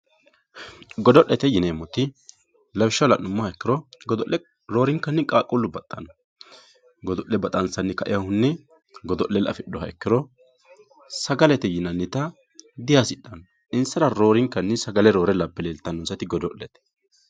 godo'lete yineemoti lawishshaho la'nummoha ikkiro godo'le roorinkanni qaaquullu baxxanno godo'le baxansanni ka"iiyohunni godo'lella afixuha ikkiro sagalete yinanita dihasixanno insara roorinkanni sagale roore labe leeltannonsati godo'lete.